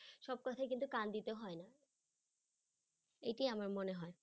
সব কথায় কিন্তু কান দিতে হয় না এটিই আমার মনে হয়।